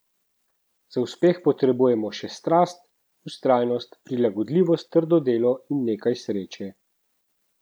Za uspeh potrebujemo še strast, vztrajnost, prilagodljivost, trdo delo in nekaj sreče.